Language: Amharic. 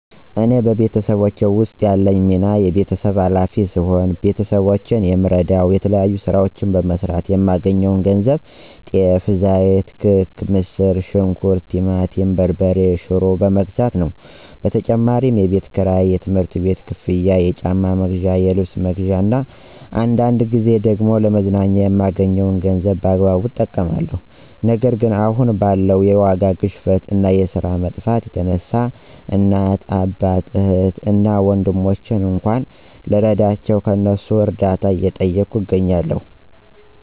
እኔ በቤተሰቤ ውስጥ ያለኝ ሚና የቤተሰብ ኋላፊ ሲሆን፤ ቤተሰቦቼን የምረደዉ የተለያዩ ስራዎችን በመስራት የማገኘውን ገንዘብ ጤፍ፣ ዘይት፣ ክክ፣ ምስር ሽንኩርት፣ ቲማቲም በርበሬ እና ሽሮ በመግዛት ነው። በተጨማሪም የቤት ክራይ፣ የትምህርት ቤት ክፍያ፣ የጫማ መግዣ፣ የልብስ መግዣ እና አንዳንድ ጊዜ ደግሞ ለመዝናኛ የማገኘዉን ገንዘብ በአግባቡ እጠቀማለሁ። ነገር ግን አሁን ባለው የዋጋ ግሽፈት እና የስራ መጥፋት የተነሳ እናት፣ አባት፣ እህት እና ወንድሞቼን እንኳን ልረዳቸው ከእነሱ እርዳታ እየጠየኩ እገኛለሁ።